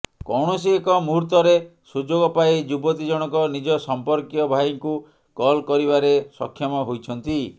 କୌଣସି ଏକ ମୂହୂର୍ତ୍ତରେ ସୁଯୋଗ ପାଇ ଯୁବତୀ ଜଣକ ନିଜ ସମ୍ପର୍କୀୟ ଭାଇଙ୍କୁ କଲ୍ କରିବାରେ ସକ୍ଷମ ହୋଇଛନ୍ତି